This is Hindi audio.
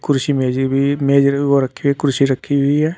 कुर्सी मेजें भी मेज रखी हुई कुर्सी रखी हुई है।